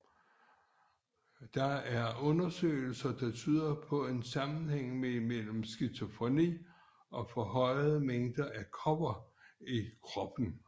Der er undersøgelser der tyder på en sammenhæng mellem skizofreni og forhøjede mængder af kobber i kroppen